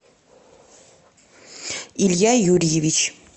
илья юрьевич